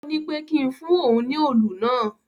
Ó ní pé kí n fún òun ní òlù náà.